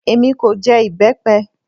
Èmi kò jẹ ìbẹ́pẹ